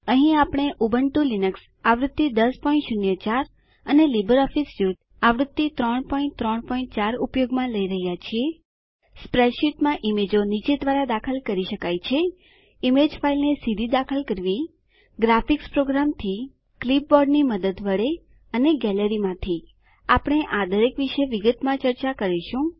અહીં આપણે Ubuntu Linux આવૃત્તિ 1004 અને લીબરઓફીસ સ્યુટ આવૃત્તિ 334 ઉપયોગમાં લઇ રહ્યા છીએ સ્પેડશીટમાં ઈમેજો નીચે દ્વારા દાખલ કરી શકાય છે ઈમેજ ફાઈલને સીધી દાખલ કરવી ગ્રાફીકસ પ્રોગ્રામથી ક્લીપબોર્ડની મદદ વડે અથવા ગેલેરી માંથી આપણે આ દરેક વિશે વિગતમાં ચર્ચા કરીશું